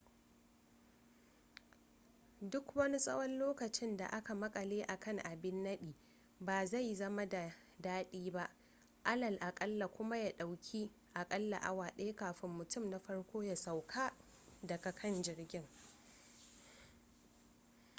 duk wani tsawon lokacin da aka makale a kan abin nadi ba zai zama da dadi ba alal akalla kuma ya dauki a kalla awa daya kafin mutum na farko ya sauka daga kan jirgin